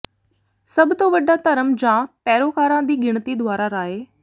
ਸਭ ਤੋਂ ਵੱਡਾ ਧਰਮ ਜਾਂ ਪੈਰੋਕਾਰਾਂ ਦੀ ਗਿਣਤੀ ਦੁਆਰਾ ਰਾਏ